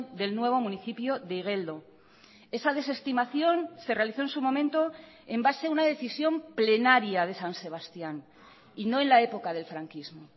del nuevo municipio de igeldo esa desestimación se realizó en su momento en base a una decisión plenaria de san sebastián y no en la época del franquismo